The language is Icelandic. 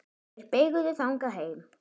Þeir beygðu þangað heim.